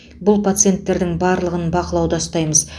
бұл пациенттердің барлығын бақылауда ұстаймыз